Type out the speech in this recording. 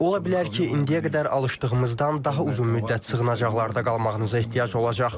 Ola bilər ki, indiyə qədər alışdığımızdan daha uzun müddət sığınacaqlarda qalmağınıza ehtiyac olacaq.